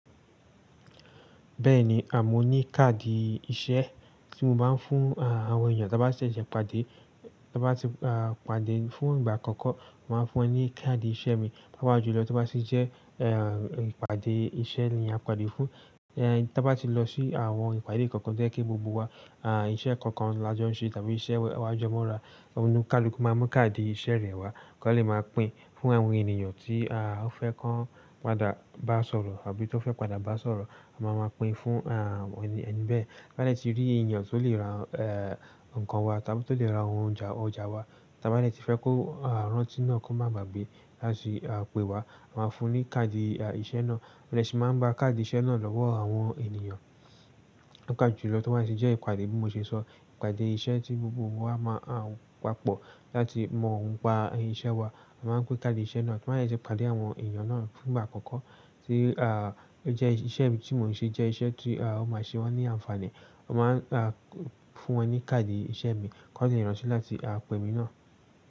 Bẹ́ẹ̀ni mo ní káàdì iṣẹ́ tí mo máa ń fún, àwọn èèyàn ta bá ṣẹ̀ṣẹ̀ pàdé, tí wọ́n bá ti, pàdé fún ìgbà àkọ́kọ́. Mo máa fún ẹ ní káàdì iṣẹ́ mi, bá wá julọ to bá sì jẹ́, ìpàdé iṣẹ́ ni a pàdé fún, tan bá ti lọ sí àwọn ìpàdé kankan to yẹ́ kí gbogbo wa, iṣẹ́ kankan la jó ń ṣe tàbí iṣẹ́ wẹ́ wa a jẹ́ mo ra, ọ̀kúnúkálukú máa mú káàdì iṣẹ́ rẹ̀ wá, kan lè máa pín fún àwọn ènìyàn tí, ó fẹ́ kàn padà bá sọ̀rọ̀ àbí tó fẹ́ padà bá sọ̀rọ̀. A máa máa pín fún, ẹni bẹ́ẹ̀. Bá lẹ̀ tí rí èyàn tó lè ra, ẹ́, nǹkan wa tàbí tó lè ra àwọn ọjà ọjà wa, tí a bá rẹ̀ ti fẹ́ kó, a, rántí náà kó máa bàgbé láti, a, pe wa. A máa fún un ní káàdì, a, iṣẹ́ náà. A de si n ma gba kadi iṣẹ́ na lọ́wọ́ àwọn ènìyàn. Ó ga ju lọ to bá sì jẹ́ ìpàdé bí mo ṣe sọ, ìpàdé iṣẹ́ tí gbogbo wa máa, a, papọ̀ láti mọ̀ nípa iṣẹ́ wa. A máa pín káàdì iṣẹ́ náà, tí mo ba si pàdé àwọn èyàn náà fún ìgbà àkọ́kọ́ tí, a, jẹ́ iṣẹ́ tí mò ń ṣe jẹ́ iṣẹ́ tí, a, ó máa ṣe wọ́n ní àǹfààní. A máa ń, a, fún wọn ní káàdì iṣẹ́ mi kí wọ́n lè ránṣẹ́ láti, a, pe mi náà.